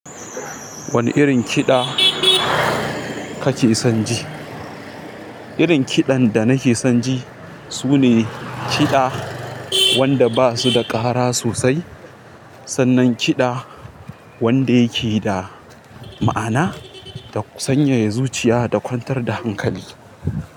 Wane irin kiɗa kake son ji? Irin kiɗan da nake son ji sune kiɗa wanda ba su da ƙara sosai, sannan kiɗa wanda yake da ma'ana da kuma sanyaya zuciya da kwantar da hankali.